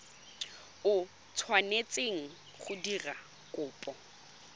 o tshwanetseng go dira kopo